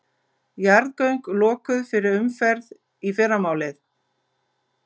Jarðgöng lokuð fyrir umferð í fyrramálið